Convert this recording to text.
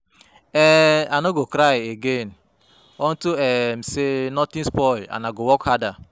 um I no go cry again unto um say nothing spoil and I go work harder.